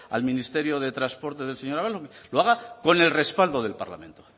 al ministerio de transportes del señor ábalos lo haga con el respaldo del parlamento